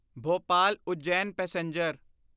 Bhopal Ujjain passenger